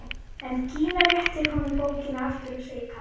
En Gína réttir honum bókina aftur og segir kalt: